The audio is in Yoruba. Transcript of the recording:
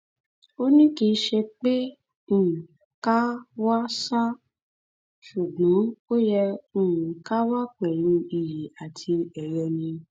ó ní kì í ṣe pé ká um kàn wá ṣáá ṣùgbọn ó yẹ um ká wà pẹlú iyì àti ẹyẹ ni